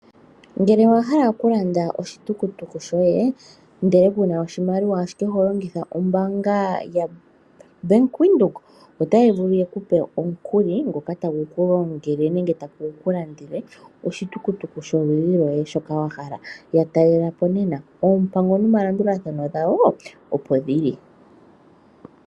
Ngele owa hala okulanda oshitukutuku shoye, ndele ku na oshimaliwa ashike oho longitha ombaanga yaBank Windhoek, otaa vulu ye ku pe omukuli ngoka tagu ku longele nenge tagu landele oshitukutuku sholudhi lwoye shoka wa hala. Ya talela po nena. Oompango nomalandathano dhawo, opo dhi li.